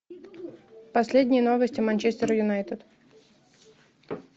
последние новости манчестер юнайтед